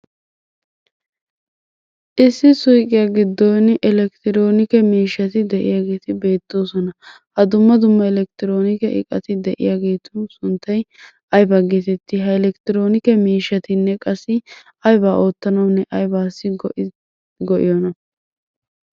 Issi suyiqiya giddon elekkitiroonike miishshati de'iyageeti beettoosona. Ha dumma dumma elekkitiroonike iqati de'iyageetu sunttay ayibaa geetetti? Ha elekkitiroonike miishshatinne qassi ayba oottanawunne ayibaassi go'iyona?